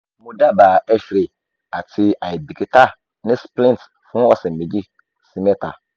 mo daba x-ray ati aibikita ni splint fun ọsẹ meji si meta